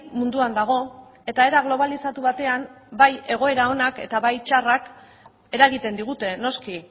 munduan dago eta era globalizatu batean bai egoera onak eta bai txarrak eragiten digute noski